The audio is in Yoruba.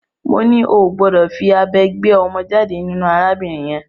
Mo ní o ò gbọdọ̀ fí abẹ gbé ọmọ jáde nínú arábìnrin yẹn!